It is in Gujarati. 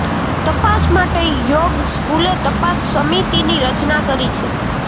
તપાસ માટે યોગ સ્કૂલે તપાસ સમિતિની રચના કરી છે